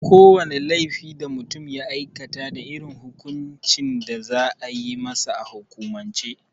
Ko wane laifi da mutum ya aikata da irin hukuncin da za a yi masa a hukumance.